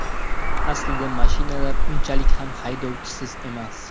Aslida mashinalar unchalik ham haydovchisiz emas.